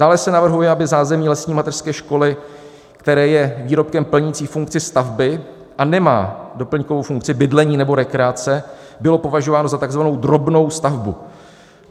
Dále se navrhuje, aby zázemí lesní mateřské školy, které je výrobkem plnícím funkci stavby a nemá doplňkovou funkci bydlení nebo rekreace, bylo považováno za tzv. drobnou stavbu.